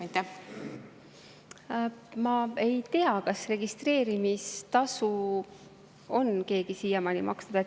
Ma ei tea, kas registreerimistasu on keegi siiamaani maksnud.